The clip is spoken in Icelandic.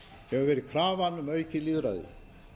hefur verið krafan um aukið lýðræði